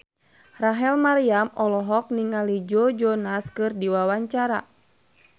Rachel Maryam olohok ningali Joe Jonas keur diwawancara